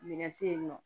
Minɛn te yen nɔ